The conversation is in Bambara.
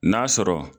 N'a sɔrɔ